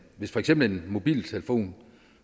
hvis for eksempel en mobiltelefon